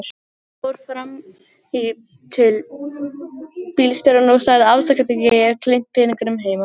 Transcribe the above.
Hann fór fram í til bílstjórans og sagði afsakandi: Ég hef gleymt peningunum heima.